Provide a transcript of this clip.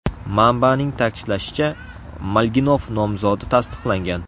Manbaning ta’kidlashicha, Malginov nomzodi tasdiqlangan.